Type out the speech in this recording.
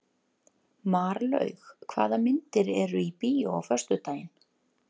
Marlaug, hvaða myndir eru í bíó á föstudaginn?